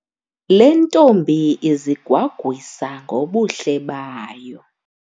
Le ntombi izigwagwisa ngobuhle bayo.